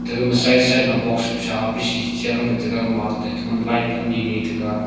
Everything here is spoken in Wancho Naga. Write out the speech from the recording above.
aga ma side side ma box kusa biji chi adam nge tega gama light ani ni taiga.